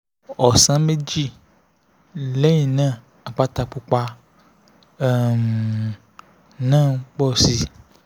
ọ̀sán méjì lẹ́yìn náà àpáta pupa um náà ń pọ̀ sí i